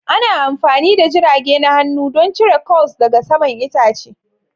Ana amfani da jirage na hannu don cire curls daga saman itace.